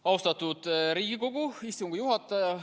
Austatud Riigikogu istungi juhataja!